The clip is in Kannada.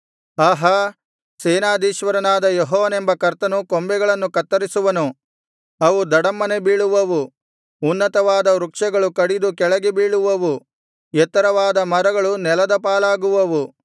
ಆಹಾ ಸೇನಾಧೀಶ್ವರನಾದ ಯೆಹೋವನೆಂಬ ಕರ್ತನು ಕೊಂಬೆಗಳನ್ನು ಕತ್ತರಿಸುವನು ಅವು ಧಡಮ್ಮನೆ ಬೀಳುವವು ಉನ್ನತವಾದ ವೃಕ್ಷಗಳು ಕಡಿದು ಕೆಳಗೆ ಬೀಳುವವು ಎತ್ತರವಾದ ಮರಗಳು ನೆಲದ ಪಾಲಾಗುವವು